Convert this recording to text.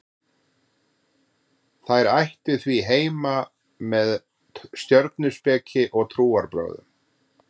þær ættu því heima með stjörnuspeki og trúarbrögðum